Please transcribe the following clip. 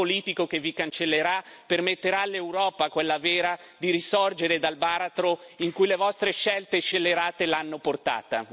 Lo shock politico che vi cancellerà permetterà all'Europa, quella vera, di risorgere dal baratro in cui le vostre scelte scellerate l'hanno portata.